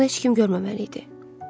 Bunu heç kim görməməli idi.